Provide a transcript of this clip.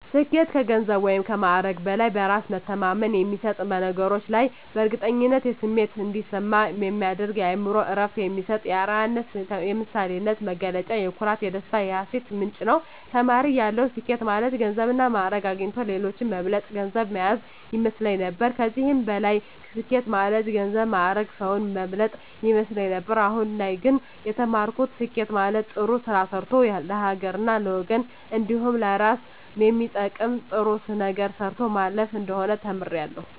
ስኬት ከገንዘብ ወይም ከማዕረግ በላይ በእራስ መተማመን የሚሰጥ በነገሮች ላይ የእርግጠኝነት ስሜት እንዲሰማ የሚያደርግ ለአእምሮ እረፍት የሚሰጥ የአረያነት የምሳሌነት መገለጫ የኩራት የደስታ የሀሴት ምንጭ ነዉ። ተማሪ እያለሁ ስኬት ማለት ገንዘብና ማእረግ አግኝቶ ሌሎችን መብለጥ ገንዘብ ማያዝ ይመስለኝ ነበር ከዚህም በላይ ስኬት ማለት ገንዘብ ማእረግ ሰዉን መብለጥ ይመስለኝ ነበር አሁን ላይ ግን የተማርኩት ስኬት ማለት ጥሩ ስራ ሰርቶ ለሀገርና ለወገን እንዲሁም ለእራስ የሚጠቅም ጥሩ ነገር ሰርቶ ማለፍ እንደሆነ ተምሬያለሁ።